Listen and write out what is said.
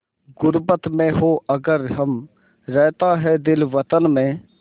ग़ुर्बत में हों अगर हम रहता है दिल वतन में